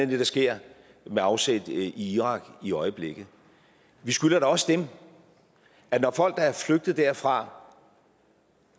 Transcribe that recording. det der sker med afsæt i irak i øjeblikket vi skylder da også dem at når folk der er flygtet derfra